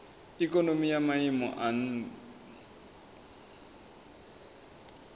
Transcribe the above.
ikonomi ya maiimo a nha